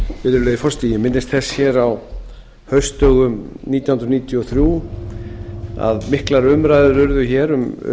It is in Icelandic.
virðulegi forseti ég minnist þess hér á haustdögum nítján hundruð níutíu og þrjú að miklar umræður urðu hér um